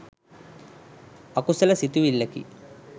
අකුසල සිතිවිල්ලකි.